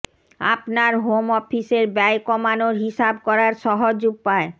আপনার হোম অফিসের ব্যয় কমানোর হিসাব করার সহজ উপায়